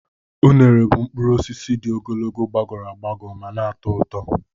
Unere bụ mkpụrụ osisi dị ogologo, gbagọrọ agbagọ ma na-atọ ụtọ.